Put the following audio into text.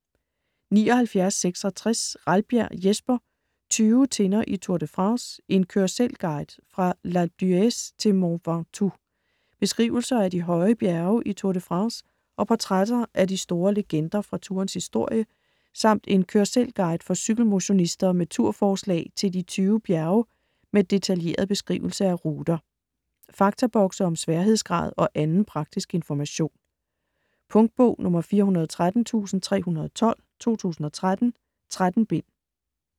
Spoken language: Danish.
79.66 Ralbjerg, Jesper: Tyve tinder i Tour de France: en kør-selv-guide fra L'Alpe d'Huez til Mont Ventoux Beskrivelser af de høje bjerge i Tour de France og portrætter af de store legender fra tourens historie, samt en kør-selv-guide for cykelmotionister med tur-forslag til de 20 bjerge med detaljeret beskrivelse af ruter. Faktabokse om sværhedsgrad og anden praktisk information. Punktbog 413312 2013. 13 bind.